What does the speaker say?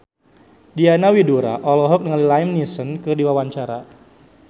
Diana Widoera olohok ningali Liam Neeson keur diwawancara